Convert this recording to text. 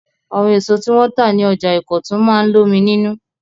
Àwọn èso tí wọn tà ní ọjà Ìkọ̀tún máa ń lómi nínú.